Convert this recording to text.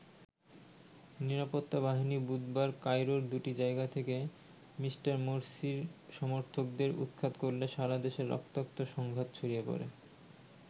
নিরাপত্তা বাহিনী বুধবার কায়রোর দুটি জায়গা থেকে মি. মোরসির সমর্থকদের উৎখাত করলে সারা দেশে রক্তাক্ত সংঘাত ছড়িয়ে পড়ে।